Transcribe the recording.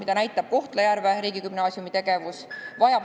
Seda näitab Kohtla-Järve riigigümnaasiumi tegevus.